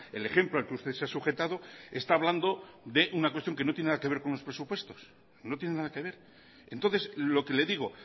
el ejemplo al que usted se ha sujetado esta hablando de una cuestión que no tienen nada que ver con los presupuestos no tiene nada que ver entonces lo que le digo